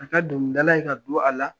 Ka kɛ dɔnkilidale ye ka don a la